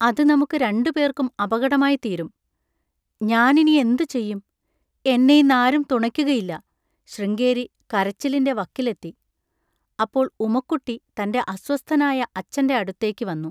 അത് നമുക്ക് രണ്ടുപേർക്കും അപകടമായിത്തീരും. ഞാനിനി എന്തുചെയ്യും! എന്നെയിന്നാരും തുണയ്ക്കുകയില്ല, ശൃംഗേരി കരച്ചിലിൻ്റെ വക്കിലെത്തി. അപ്പോൾ ഉമക്കുട്ടി തൻ്റെ അസ്വസ്ഥനായ അച്ഛൻ്റെ അടുത്തേക്ക് വന്നു.